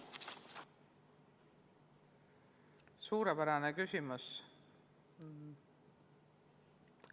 Suurepärane küsimus!